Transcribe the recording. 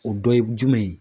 O dɔ ye jumɛn ye.